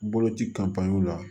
Boloci la